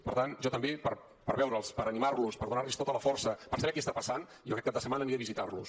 per tant jo també per veure’ls per animar los per donar los tota la força per saber què està passant jo aquest cap de setmana aniré a visitar los